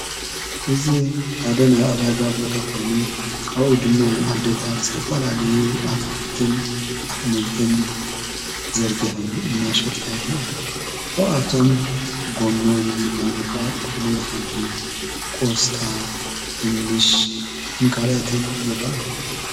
እዙ ዓደና ዕዳጋ ቦታ ኾይኑ ኣኡ ድማ ዓደታት ዝተፈልለዩ ኣትክልትን ኣኅመልትን ዘርጊኁም እናሸጠይር እያ ካብኣቶም ጎመን ዝባርቃ ጥቕሉል ኃምዲ ቆስጣ ድንሽ ንካልአትን ይረአእዩ።